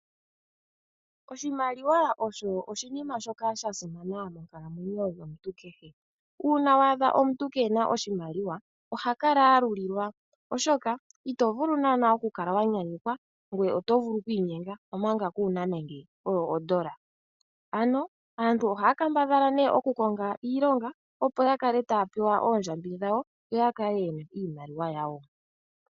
Oshimaliwa osho oshinima shoka sha simana monkalamwenyo yomuntu kehe. Uuna wa adha omuntu kee na oshimaliwa, oha kala a lulilwa, oshoka ito vulu naanaa okukala wa nyanyukwa, ngoye oto vulu okwiinyenga, omanga kuu na nande ondola. Ano, aantu ohaya kambadhala okukonga iilonga, opo ya kale taya pewa oondjambi dhawo, yo ya kale ye na iimaliwa yawo.